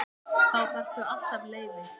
Þá þarftu alltaf leyfi.